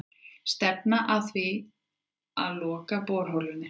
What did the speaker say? Stefna að því að loka borholunni